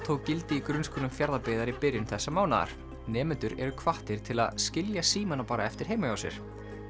tók gildi í grunnskólum Fjarðabyggðar í byrjun þessa mánaðar nemendur eru hvattir til að skilja símana bara eftir heima hjá sér